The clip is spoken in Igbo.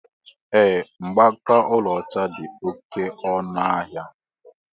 Ee, Mgbaaka ọlaọcha dị oké ọnụ ahịa